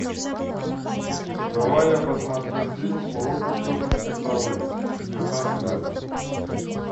давай я посмотрю фильм уроки тетушки совы чудеса света